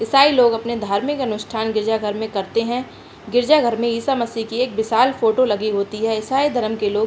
ईसाई लोग अपने धार्मिक अनुष्ठान गिरिजा घर मे करते हैं। गिरिजा घर में ईसा मसीह की एक विशाल फ़ोटो लगी होती है। ईसाई धर्म के लोग --